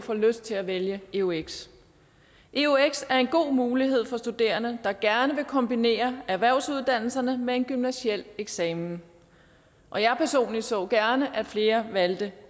får lyst til at vælge eux eux er en god mulighed for studerende der gerne vil kombinere erhvervsuddannelserne med en gymnasial eksamen og jeg personligt så gerne at flere valgte